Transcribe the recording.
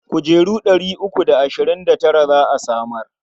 Kujeru ɗari uku da ashirin da tara za a samar.